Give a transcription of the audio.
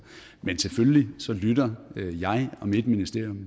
men selvfølgelig lytter jeg og mit ministerium